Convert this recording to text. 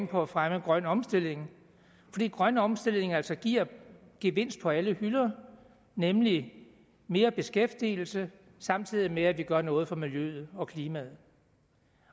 på at fremme grøn omstilling fordi grøn omstilling altså giver gevinst på alle hylder nemlig mere beskæftigelse samtidig med at vi gør noget for miljøet og klimaet